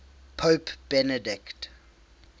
pope benedict